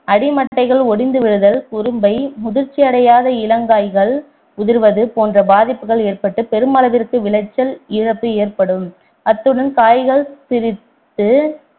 அடிமட்டைகள் ஒடிந்து விழுதல் குரும்பை முதிர்ச்சி அடையாத இளங்காய்கள் உதிர்வது போன்ற பாதிப்புகள் ஏற்பட்டு பெருமளவிற்கு விளைச்சல் இழப்பு ஏற்படும் அத்துடன் காய்கள் சிறுத்து